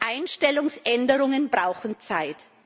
Einstellungsänderungen brauchen Zeit.